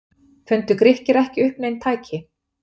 Fundu Grikkir ekki upp nein tæki?